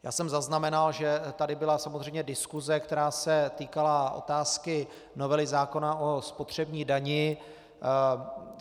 Já jsem zaznamenal, že tady byla samozřejmě diskuse, která se týkala otázky novely zákona o spotřební dani.